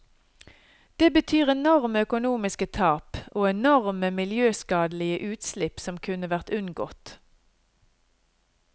Det betyr enorme økonomiske tap, og enorme miljøskadelige utslipp som kunne vært unngått.